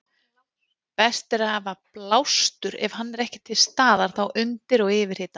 Best er að hafa blástur ef hann er ekki til staðar þá undir og yfirhita.